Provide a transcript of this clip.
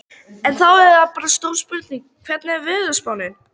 En þá er það bara stóra spurningin, hvernig er veðurspáin?